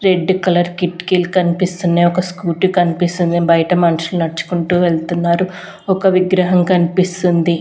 Red colour కిట్కీలు కన్పిస్తున్నయ్ ఒక స్కూటీ కన్పిస్తుంది బయట మన్షుల్ నడ్చుకుంటూ వెళ్తున్నారు ఒక విగ్రహం కన్పిస్తుంది.